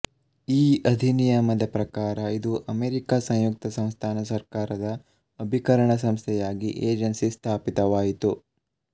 ಈ ಅಧಿನಿಯಮದ ಪ್ರಕಾರ ಇದು ಅಮೆರಿಕ ಸಂಯುಕ್ತ ಸಂಸ್ಥಾನ ಸರ್ಕಾರದ ಅಭಿಕರಣಸಂಸ್ಥೆಯಾಗಿ ಏಜೆನ್ಸಿ ಸ್ಥಾಪಿತವಾಯಿತು